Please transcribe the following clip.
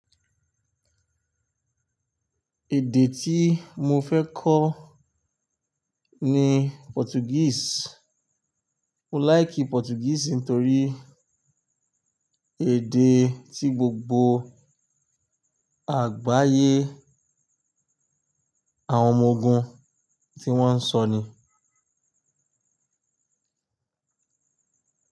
Èdè tí mo fẹ́ kọ́ ni Portuguese. Mo like Portuguese nítorí èdè tí gbogbo àgbáyé àwọn ọmọ ogun tí wọ́n ń sọ ni.